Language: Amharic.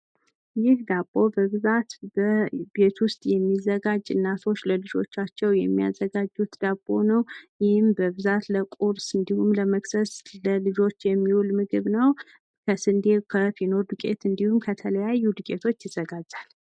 ይህ ዳቦ በብዛት ቤት ዉስጥ የሚዘጋጅ እናቶች ለልጆቻቸው የሚያዘጋጁት ዳቦ ነው ይህም በብዛት ለቁርስ እንዲሁም ለመክሰስ ለልጆች የሚውል ምግብ ነው ከስንዴ ከፊኖ ዱቄት እንዲሁም ከተለያዩ ዱቄቶች ይዘጋጃል